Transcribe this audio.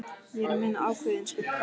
Ég er að meina ákveðinn skugga.